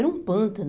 Era um pântano.